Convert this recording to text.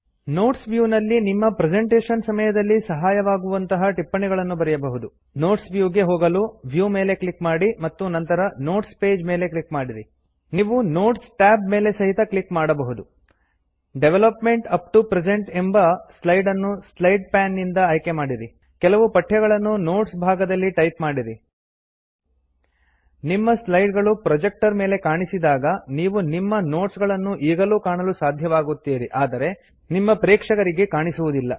notes view ನಲ್ಲಿ ನಿಮ್ಮ presentation ಸಮಯದಲ್ಲಿ ಸಹಯವಾಗುವಂತ ಟಿಪ್ಪಣಿಗಳನ್ನು ಬರೆಯಬಹುದು ನೋಟ್ಸ ವ್ಯೂ ಗೆ ಹೋಗಲು ವ್ಯೂ ಮೇಲೆ ಕ್ಲಿಕ್ ಮಾಡಿ ಮತ್ತು ನಂತರ ನೋಟ್ಸ್ ಪೇಜ್ ಮೆಲೆ ಕ್ಲಿಕ್ ಮಾಡಿರಿ ನೀವು ನೋಟ್ಸ್ Tab ಮೆಲೆ ಸಹಿತ ಕ್ಲಿಕ್ ಮಾಡಬಹುದು ಡೆವಲಪ್ಮೆಂಟ್ ಅಪ್ಟೊ ಪ್ರೆಸೆಂಟ್ ಎಂಬ ಸ್ಲೈಡ್ ಅನ್ನು ಸ್ಲೈಡ್ ಪೇನ್ ದಿಂದ ಆಯ್ಕೆ ಮಾಡಿರಿ ಕೆಲವು ಪಠ್ಯಗಳನ್ನು ನೋಟ್ಸ ಭಾಗದಲ್ಲಿ ಟೈಪ್ ಮಾಡಿರಿ ನಿಮ್ಮ ಸ್ಲೈಡ್ಸಗಳು ಪ್ರೊಜೆಕ್ಟರ್ ಮೇಲೆ ಕಾಣಿಸಿದಾಗ ನೀವು ನಿಮ್ಮ ನೋಟ್ಸಗಳನ್ನು ಈಗಲೂ ಕಾಣಲು ಸಾಧ್ಯವಾಗುತ್ತೀರಿ ಆದರೆ ನಿಮ್ಮ ಪ್ರೇಕ್ಷಕರಿಗೆ ಕಾಣಿಸುವುದಿಲ್ಲ